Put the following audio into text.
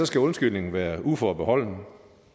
skal undskyldningen være uforbeholden